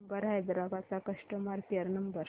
Uber Hyderabad चा customer care number